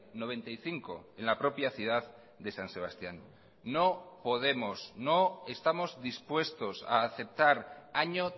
noventa y cinco en la propia ciudad de san sebastián no podemos no estamos dispuestos a aceptar año